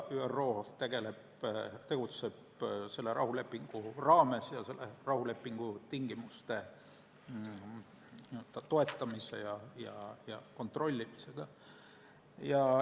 ÜRO tegutseb selle rahulepingu raames ning rahulepingu tingimuste toetamise ja kontrollimisega.